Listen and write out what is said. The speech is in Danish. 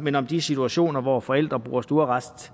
men om de situationer hvor forældre bruger stuearrest